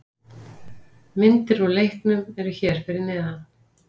Myndir úr leiknum eru hér fyrir neðan